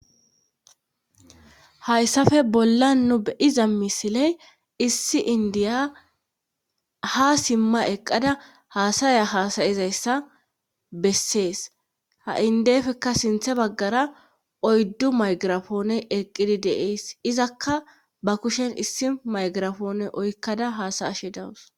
Hayssafe bolla nu be iza misiley issi indiya ha simma eqqada haasaya haasayizayssa bessees ha indefekka sinthe baggara oyddu maygirafoone eqqidi deees izakka ba kushen issi maygirafoone oykkada haasayashe dawus.